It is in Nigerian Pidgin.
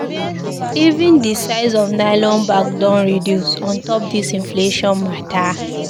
Even di size of nylon bag don reduce on top dis inflation mata.